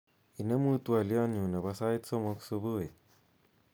Inemuu twoliotnyu nebo sait somok subui